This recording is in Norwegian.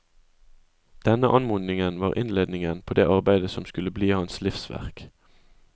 Denne anmodningen var innledningen på det arbeidet som skulle bli hans livsverk.